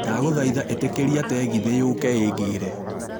Ndagũthaitha ĩtĩkĩria tegithĨ yũkĩte ĩingĩre